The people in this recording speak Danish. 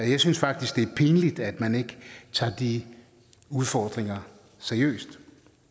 jeg synes faktisk det er pinligt at man ikke tager de udfordringer seriøst